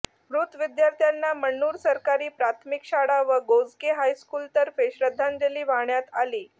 मृत विद्यार्थ्यांना मण्णूर सरकारी प्राथमिक शाळा व गोजगे हायस्कूलतर्फे श्रद्धांजली वाहण्यात आली